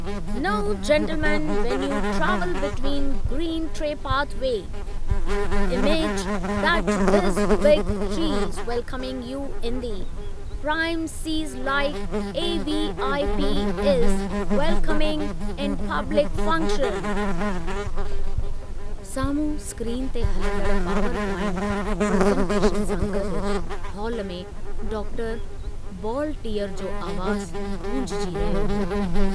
नौ gentleman when you travel, ट्रै, गॾु बिटवीन ग्रीन ट-पॉथ way, you image that these big trees welcoming you in the premises like a VIP. Is welcomed in public function " सामुंहूं screen ते हलंदड़ PowerPoint presentation सां गड्डु hall में doctor बॉलटीअर जो आवाजु गूंजजी रहियो हो।